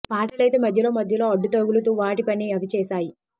పాటలైతే మధ్యలో మధ్యలో అడ్డు తగులుతూ వాటి పని అవి చేశాయి